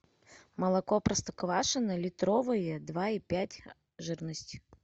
молоко простоквашино литровые два и пять жирность